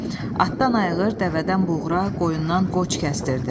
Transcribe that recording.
Atdan ayğır, dəvədən buğra, qoyundan qoç kəstirdi.